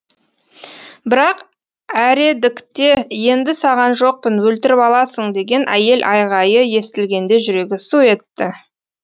бірақ әредікте енді саған жоқпын өлтіріп аласың деген әйел айғайы естілгенде жүрегі су етті